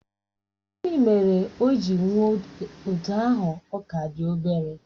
Gịnị mere o ji nwụọ otú ahụ ọ ka dị obere?